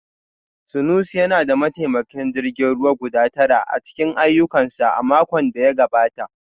Sanusi yana da mataimakan jirgin ruwa guda tara a cikin ayyukansa a makon da ya gabata